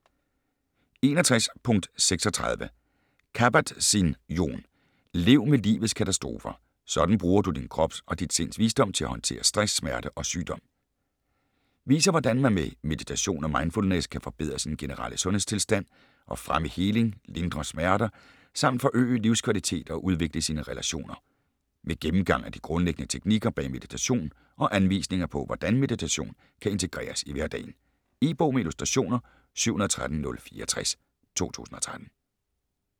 61.36 Kabat-Zinn, Jon: Lev med livets katastrofer: sådan bruger du din krops og dit sinds visdom til at håndtere stress, smerte og sygdom Viser hvordan man med meditation og mindfulness kan forbedre sin generelle sundhedstilstand, og fremme heling, lindre smerter samt forøge livskvalitet og udvikle sine relationer. Med gennemgang af de grundlæggende teknikker bag meditation og anvisninger på hvordan meditation kan integreres i hverdagen. E-bog med illustrationer 713064 2013.